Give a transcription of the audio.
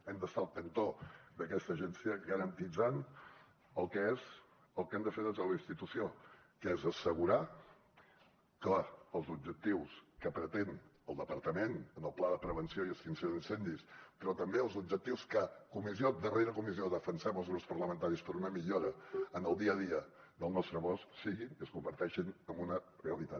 hem d’estar al cantó d’aquesta agència i garantir el que hem de fer des de la institució que és assegurar que els objectius que pretén el departament en el pla de prevenció i extinció d’incendis però també els objectius que comissió rere comissió defensem els grups parlamentaris per a una millora en el dia a dia del nostre bosc que siguin i es converteixin en una realitat